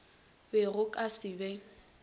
be go ka se be